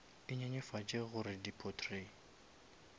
e nyenyefatše gore di potrait